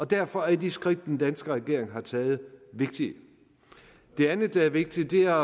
derfor er de skridt den danske regering har taget vigtige det andet der er vigtigt er